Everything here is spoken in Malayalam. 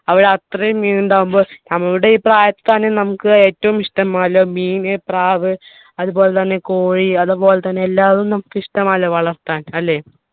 അവിടെ അത്രയും മീൻ ഇണ്ടാവുമ്പോ നമ്മുടെ ഈ പ്രായത്തിത്തന്നെ നമുക്ക് ഏറ്റവും ഇഷ്ടം പോലെ മീൻ പ്രാവ് അതുപോലെതന്നെ കോഴി അതുപോലെ തന്നെ എല്ലാതും നമ്മുക്ക് ഇഷ്ടമാണല്ലോ വളർത്താൻ അല്ലെ